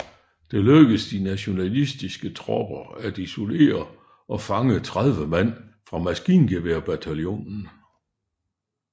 Det lykkedes de nationalistiske tropper at isolere og fange 30 mand fra maskingeværbataljonen